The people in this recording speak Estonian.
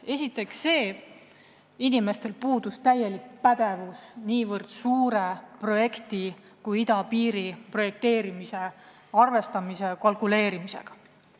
Esiteks, inimestel puudus pädevus, et tegelda niivõrd suure projekti nagu idapiiri projekteerimine arvestuste ja kalkuleerimisega.